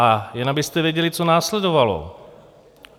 A jen abyste věděli, co následovalo.